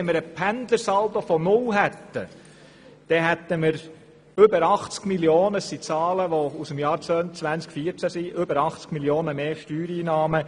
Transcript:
Wenn wir einen Pendlersaldo von 0 hätten, hätten wir über 80 Mio. Franken mehr Steuereinnahmen.